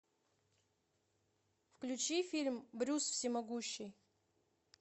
включи фильм брюс всемогущий